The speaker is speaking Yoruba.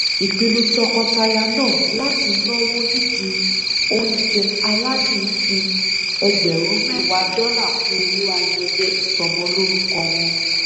ìpinnu tọkọtaya náà láti náwó nídìí oúnjẹ aládùn fi ẹgbẹrún mẹwàá dọlà kún owó ayẹyẹ ìsọmọlórúkọ wọn